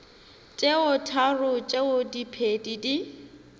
tše tharo tšeo diphedi di